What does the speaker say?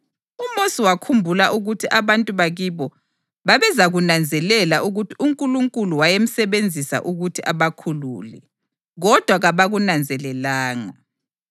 UMosi wakhumbula ukuthi abantu bakibo babezakunanzelela ukuthi uNkulunkulu wayemsebenzisa ukuthi abakhulule, kodwa kabakunanzelelanga.